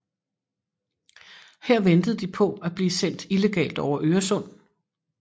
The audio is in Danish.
Her ventede de på at blive sendt illegalt over Øresund